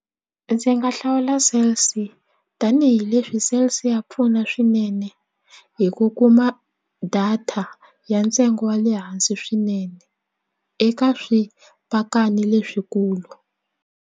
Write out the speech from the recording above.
Ndzi nga hlawula Cell C tanihileswi Cell C ya pfuna swinene hi ku kuma data ya ntsengo wa le hansi swinene eka swipakani leswikulu.